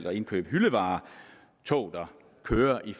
at indkøbe hyldevarer tog der kører i